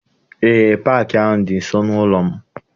Eé, paakị ahụ dị nso n'ụlọ m.